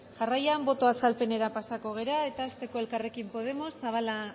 jarraian boto azalpenera pasako gara eta hasteko elkarrekin podemos zabala